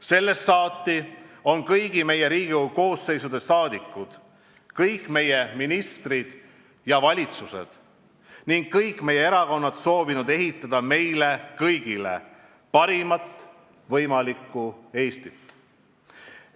Sellest saati on kõigi Riigikogu koosseisude liikmed, kõik meie ministrid ja valitsused ning kõik meie erakonnad soovinud ehitada meile kõigile parimat võimalikku Eestit.